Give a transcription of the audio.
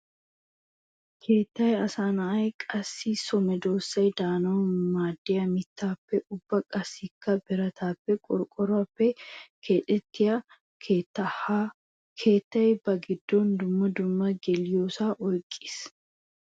Keettay asaynne qassikka so medosay de'anawu maadiya mittappe ubba qassikka biratappenne qorqqoruwaappe keexettiya keetta. Ha keettay ba gidon dumma dumma geliyosa oyqqis.